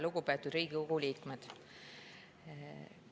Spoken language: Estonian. Lugupeetud Riigikogu liikmed!